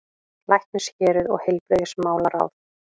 LÆKNISHÉRUÐ OG HEILBRIGÐISMÁLARÁÐ